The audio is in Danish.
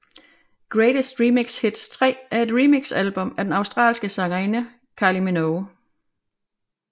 Greatest Remix Hits 3 er et remixalbum af den australske sangerinde Kylie Minogue